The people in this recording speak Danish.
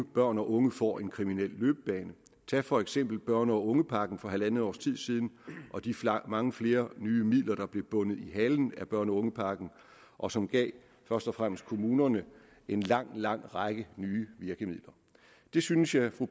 børn og unge får en kriminel løbebane tag for eksempel børne og ungepakken fra halvt års tid siden og de mange flere nye midler der blev bundet i halen af børne og ungepakken og som først og fremmest gav kommunerne en lang lang række nye virkemidler det synes jeg at fru